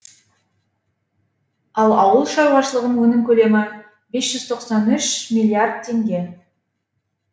ал ауыл шаруашылығының өнім көлемі бес жүз тоқсан үш миллиард теңге